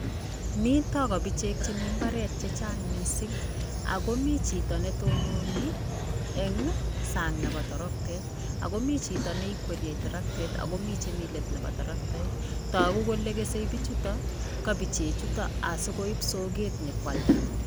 Mito kabichek chemi imbaar chechsng mising ako mi chito netununi eng sang nebo toroktet akomi chito neikwerie toroktet akomi chemi let nebo toroktet, toku kole kesei bichuuto kabichechuto asikoip sokwet nyikwalda.